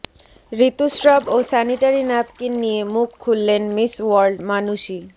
ঋতুস্রাব ও sanitary napkin নিয়ে মুখ খুললেন মিস ওয়ার্ল্ড মানুষী